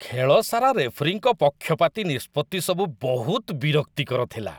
ଖେଳ ସାରା ରେଫରୀଙ୍କ ପକ୍ଷପାତୀ ନିଷ୍ପତ୍ତି ସବୁ ବହୁତ ବିରକ୍ତିକର ଥିଲା।